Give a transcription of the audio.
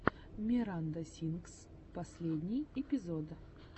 миранда сингс последний эпизод